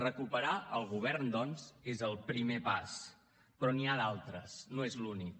recuperar el govern doncs és el primer pas però n’hi ha d’altres no és l’únic